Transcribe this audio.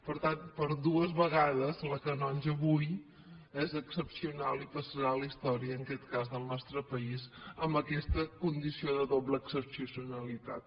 per tant per dues vegades la canonja avui és excepcional i passarà a la història en aquest cas del nostre país amb aquesta condició de doble excepcionalitat